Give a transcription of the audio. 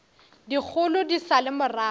dikgolo di sa le morago